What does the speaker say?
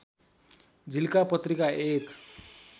झिल्का पत्रिका एक